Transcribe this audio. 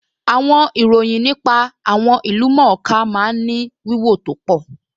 Àwọn ìròyìn nípa àwọn ìlú-mọ̀-ọ́n-ká máa ń ní wíwò tó pọ̀